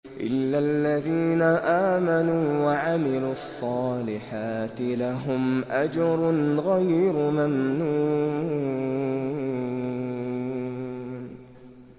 إِلَّا الَّذِينَ آمَنُوا وَعَمِلُوا الصَّالِحَاتِ لَهُمْ أَجْرٌ غَيْرُ مَمْنُونٍ